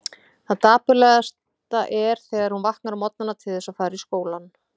Það dapurlegasta er þegar hún vaknar á morgnana til þess að fara í skólann.